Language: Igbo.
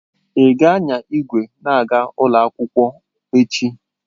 Ị ga-anya igwe na-aga ụlọ akwụkwọ echi?